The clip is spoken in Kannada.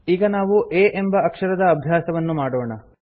ಈಗ ನಾವು a ಎಂಬ ಅಕ್ಷರದ ಅಭ್ಯಾಸವನ್ನು ಮಾಡೋಣ